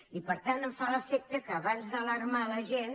i per tant em fa l’efecte que abans d’alarmar la gent